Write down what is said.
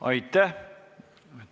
Aitäh!